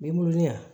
Binnkunya